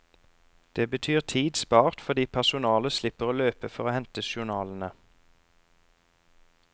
Det betyr tid spart fordi personalet slipper å løpe for å hente journalene.